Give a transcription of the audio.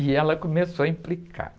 E ela começou a implicar.